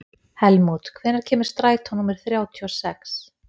Helmút, hvenær kemur strætó númer þrjátíu og sex?